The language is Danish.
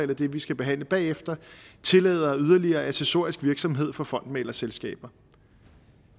det vi skal behandle bagefter tillader yderligere accessorisk virksomhed for fondsmæglerselskaber